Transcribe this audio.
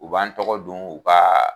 U b'an tɔgɔ don u ka